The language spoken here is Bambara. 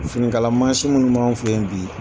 Finikala mansin minnu b'an fɛ yen bi.